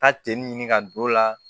Taa ten ɲini ka don o la